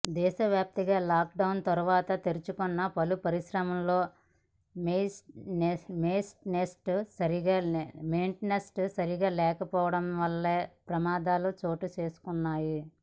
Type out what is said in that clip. దేశవ్యాప్తంగా లాక్డౌన్ తర్వాత తెరచుకున్న పలు పరిశ్రమల్లో మెయిన్టెన్స్ సరిగ్గా లేక పోవడం వల్లనే ప్రమాదాలు చోటు చేసుకున్నాయి